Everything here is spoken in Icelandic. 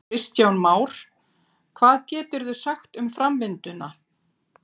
Kristján Már: Hvað geturðu sagt um framvinduna?